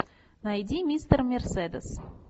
найди мистер мерседес